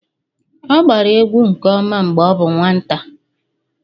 ọ agbara egwu nke ọma mgbe ọ bụ nwata